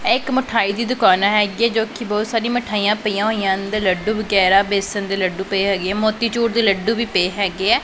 ਇਹ ਇੱਕ ਮਠਾਈ ਦੀ ਦੁਕਾਨ ਹੈਗੀ ਜੋ ਕਿ ਬਹੁਤ ਸਾਰੀ ਮਿਠਾਈਆਂ ਪਈਆਂ ਹੋਈਆਂ ਅੰਦਰ ਲੱਡੂ ਵਗੈਰਾ ਬੇਸਣ ਦੇ ਲੱਡੂ ਪਏ ਹੈਗੇ ਆ ਮੋਤੀ ਚੂਰ ਦੇ ਲੱਡੂ ਵੀ ਪੇ ਹੈਗੇ ਐ।